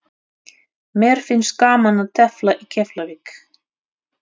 Mér finnst gaman að tefla í Keflavík.